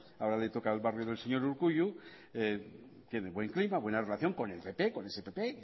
ahora le toca al barrio del señor urkullu tiene buen clima buena relación con el pp con ese pp